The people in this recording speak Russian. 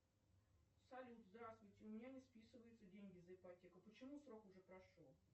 салют здравствуйте у меня не списываются деньги за ипотеку почему срок уже прошел